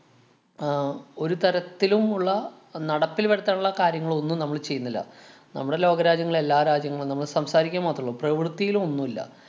ആഹ് ഒരു തരത്തിലുമുള്ള നടപ്പില്‍ വരുത്താനുള്ള കാര്യങ്ങള്‍ ഒന്നും നമ്മള് ചെയ്യുന്നില്ല. നമ്മടെ ലോകരാജ്യങ്ങളും എല്ലാരാജ്യങ്ങളും നമ്മള് സംസാരിക്കുക മാത്രേള്ളൂ. പ്രവൃത്തിയിലൊന്നൂല്ല.